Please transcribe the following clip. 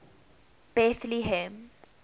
bethlehem